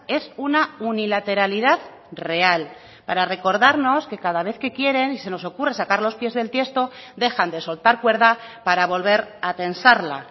es una unilateralidad real para recordarnos que cada vez que quiere y se nos ocurra sacar los pies del tiesto dejan de soltar cuerda para volver a tensarla